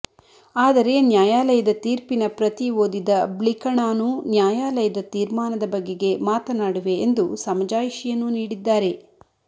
ಆದರೆ ನ್ಯಾಯಾಲಯದ ತೀರ್ಪಿನ ಪ್ರತಿ ಓದಿದ ಬ್ಳಿಕ ಣಾನು ನ್ಯಾಯಾಲಯದ ತೀರ್ಮಾನದ ಬಗೆಗೆ ಮಾತನಾಡುವೆ ಎಂದು ಸಮಜಾಯಿಷಿಯನ್ನೂ ನೀಡಿದ್ದಾರೆ